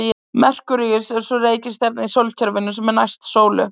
Merkúríus er sú reikistjarna í sólkerfinu sem næst er sólu.